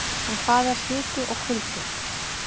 En hvað er hiti og kuldi?